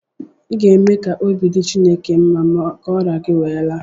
ị ga-eme ka obi dị Chineke mma ka ọrịa gị wee laa